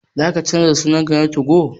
Za ka canza sunan ka na 2go?